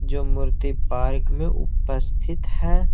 जो मूर्ति पार्क में उपस्थित है।